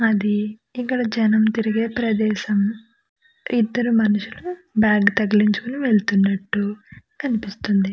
అది ఇక్కడ జనం తిరిగే ప్రదేశం. ఇద్దరు మనుషులు బాగ్ తగిలించుకుని వెలత్తునట్టు కనిపిస్తుంది.